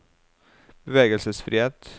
bevegelsesfrihet